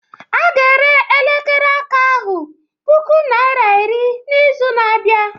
A ga-ere elekere aka ahụ puku naira iri n'izu na-abịa